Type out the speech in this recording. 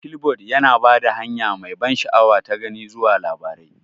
Flipboard yana ba da hanya mai ban sha'awa ta gani zuwa labarai.